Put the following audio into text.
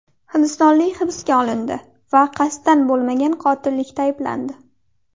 Hindistonlik hibsga olindi va qasddan bo‘lmagan qotillikda ayblandi.